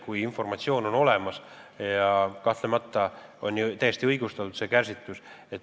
Kui informatsioon on olemas, siis on kahtlemata täiesti õigustatud ka see kärsitus.